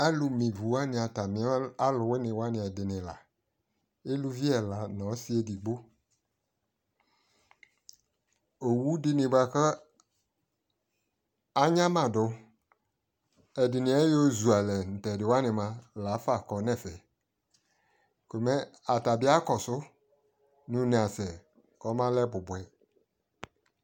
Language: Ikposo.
alo me ivu wane atame alowini wane edini la, uluvi ɛla no ɔse edigbo owu dini boako anyamado edini ayozu alɛ no tɛdi wani lafa kɔ no ɛfɛ ko mɛ ata bi ya kɔso no une asɛ kɔmalɛ bubuɛ